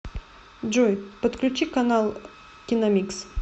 джой подключи канал киномикс